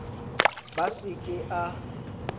b a se ke a